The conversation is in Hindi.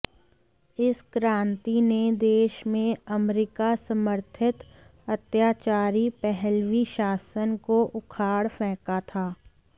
इस क्रान्ति ने देश में अमरीका समर्थित अत्याचारी पहलवी शासन को उखाड़ फेंका था